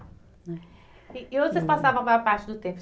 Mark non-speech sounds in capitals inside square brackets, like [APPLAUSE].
[UNINTELLIGIBLE] E e onde vocês passavam a maior parte do tempo?